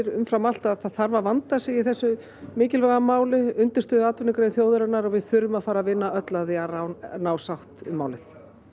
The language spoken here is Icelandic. umfram allt að það þarf að vanda sig í þessu mikilvæga máli undirstöðuatvinnugrein þjóðarinnar og við þurfum að fara að vinna öll að því að ná sátt um málið